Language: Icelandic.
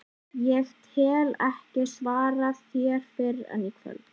Ég get ekki svarað þér fyrr en í kvöld